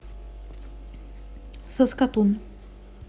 саскатун